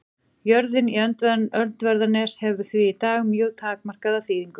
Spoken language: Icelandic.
Jörðin Öndverðarnes hefur því í dag mjög takmarkaða þýðingu.